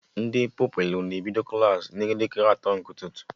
Ndị Pupilụ na-ebido Klassị n'elekere asatọ nke ụtụtụ